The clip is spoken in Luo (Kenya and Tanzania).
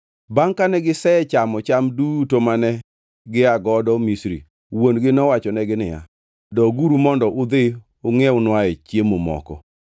Bangʼ kane gisechamo cham duto mane gia godo Misri, wuon-gi nowachonegi niya, “Doguru mondo udhi ungʼiewnwae chiemo moko.”